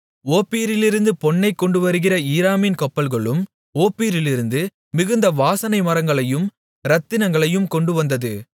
ஓப்பீரிலிருந்து பொன்னைக் கொண்டுவருகிற ஈராமின் கப்பல்களும் ஓப்பீரிலிருந்து மிகுந்த வாசனை மரங்களையும் இரத்தினங்களையும் கொண்டுவந்தது